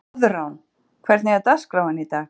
Koðrán, hvernig er dagskráin í dag?